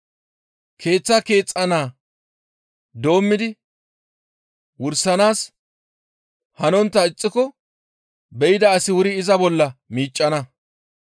Keeththaa keexxana doommidi wursanaas hanontta ixxiko be7ida asi wuri iza bolla miiccana.